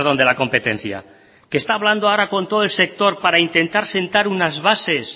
de la competencia que está hablando ahora con todo el sector para intentar sentar unas bases